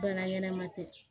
Baara ɲɛnɛma tɛ